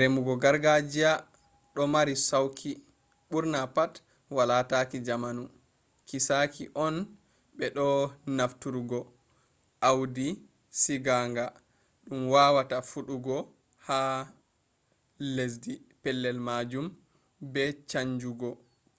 remugo gargajiya domari sauki ɓurna pat wala taki jamanu kiisaki on be bo nafturungo awdi siginga dum wawata fuɗugo ha lesdi pellel majum be